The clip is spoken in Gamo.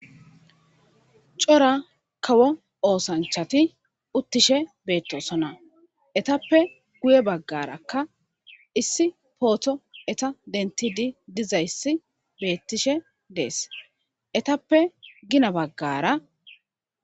cora kawo oosanchati uttishe beettosona etappe guye baggarakka issi pooto eta dentidi dizayssi beettishe dees etappe gina baggara